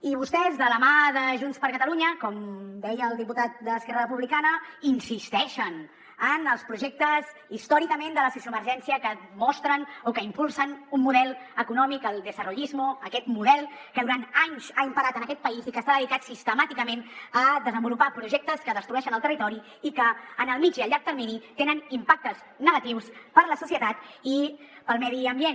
i vostès de la mà de junts per catalunya com deia el diputat d’esquerra republicana insisteixen en els projectes històricament de la sociovergència que mostren o que impulsen un model econòmic el desarrollismo aquest model que durant anys ha imperat en aquest país i que s’ha dedicat sistemàticament a desenvolupar projectes que destrueixen el territori i que en el mitjà i llarg termini tenen impactes negatius per a la societat i per al medi ambient